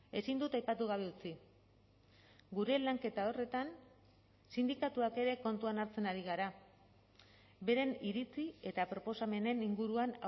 ezin dut aipatu gabe utzi gure lanketa horretan sindikatuak ere kontuan hartzen ari gara beren iritzi eta proposamenen inguruan